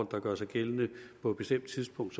der gør sig gældende på et bestemt tidspunkt